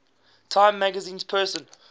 time magazine persons